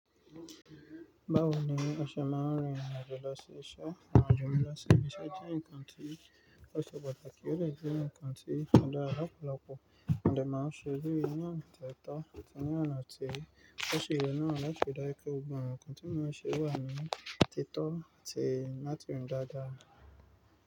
Báwo ni a ṣe máa ń rìn irin àjò lọ sí iṣẹ́. Irin àjò mìíràn sí ibi iṣẹ́ jẹ́ nǹkan tí ó ṣe pàtàkì, ó de jẹ́ nǹkan tí ó dára lọ̀pọ̀lọpọ̀ mo de máa ń ṣe bí ní ona to tọ́ ti ní àǹtí ó ṣe ìrònú àti fìdáìkọ́ gbọ̀n. Ǹkan tí ó máa ń ṣe wà nínú títọ́ àti náà tún dáadáa.